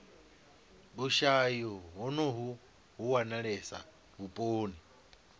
vhushayi honovhu vhu wanalesa vhuponi